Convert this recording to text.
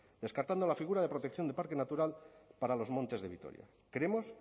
descartando la figura de protección de parque natural para los montes de vitoria creemos